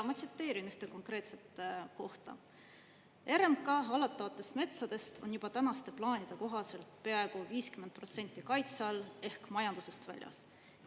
Ma tsiteerin ühte konkreetset kohta: "RMK hallatavatest metsadest on juba tänaste plaanide kohaselt peaaegu 50% kaitse all ehk majandusest väljas.